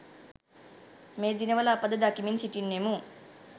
මේ දිනවල අප ද දකිමින් සිටින්නෙමු.